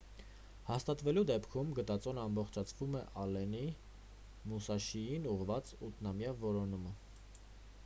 հաստատվելու դեպքում գտածոն ամբողջացնում է ալլենի մուսաշիին ուղղված ութնամյա որոնումը